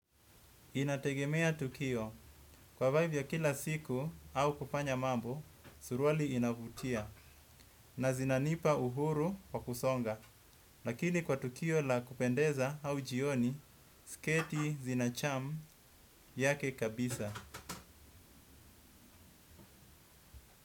Inategemea tukio, kwa vibe za kila siku na kufanya mambo suruali inavutia na zinanipa uhuru wa kusonga. Lakini kwa tukio la kupendeza au jioni, sketi zina charm yake kabisa.